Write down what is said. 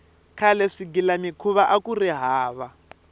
khale swigilamikhuva akuri hava